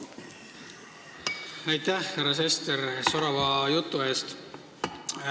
Aitäh, härra Sester, sorava jutu eest!